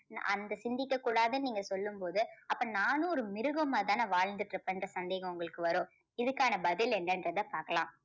நான் அந்த சிந்திக்க கூடாதுன்னு நீங்க சொல்லும்போது அப்போ நானும் ஒரு மிருகமா தான வாழ்ந்துட்டிருப்பன்ற சந்தேகம் உங்களுக்கு வரும். இதுக்கான பதில் என்னன்றத பார்க்கலாம்.